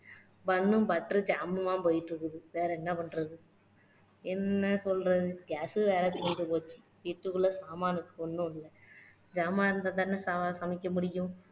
bun, butter, jam உமா போயிட்டு இருக்குது வேற என்ன பண்றது என்ன சொல்றது gas வேற தீந்து போச்சு வீட்டுக்குள்ள சாமானுங்க ஒண்ணும் இல்ல ஜாமான் இருந்தா தானே ச சமைக்க முடியும்